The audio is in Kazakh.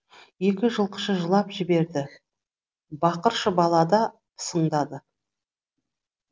екі жылқышы жылап жіберді бақыршы бала да пысыңдады